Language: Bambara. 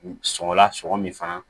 Sɔngɔ la sɔmi fana